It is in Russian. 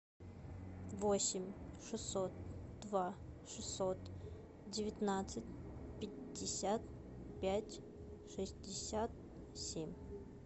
восемь шестьсот два шестьсот девятнадцать пятьдесят пять шестьдесят семь